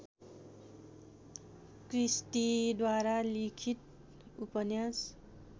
क्रिस्टीद्वारा लिखित उपन्यास